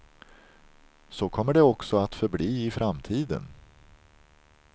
Så kommer det också att förbli i framtiden.